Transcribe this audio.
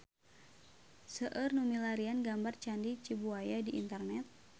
Seueur nu milarian gambar Candi Cibuaya di internet